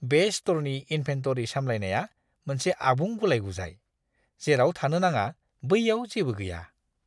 बे स्ट'रनि इनभेन्टरि सामलायनाया मोनसे आबुं गुलाय-गुजाय। जेराव थानो नाङा बैयाव जेबो गैया।